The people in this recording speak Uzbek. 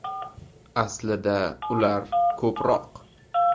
Aslida ular ko‘proq.